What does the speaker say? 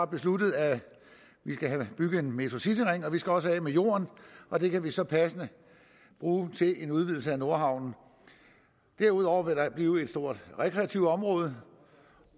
besluttet at vi skal have bygget en metrocityring vi skal også af med jorden og den kan vi så passende bruge til en udvidelse af nordhavnen derudover vil der blive et stort rekreativt område